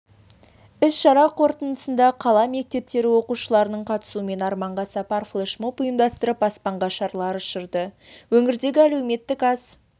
іс-шара қорытындысында қала мектептері оқушыларының қатысуымен арманға сапар флешмоп ұйымдастырып аспанға шарлар ұшырды өңірдегі әлеуметтік аз